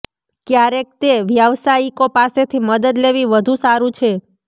ક્યારેક તે વ્યાવસાયિકો પાસેથી મદદ લેવી વધુ સારું છે